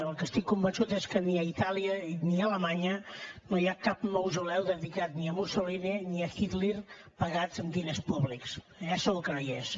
el que estic convençut és que ni a itàlia ni a alemanya no hi ha cap mausoleu dedicat ni a mussolini ni a hitler pagat amb diners públics allà segur que no hi és